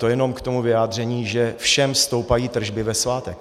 To jenom k tomu vyjádření, že všem stoupají tržby ve svátek.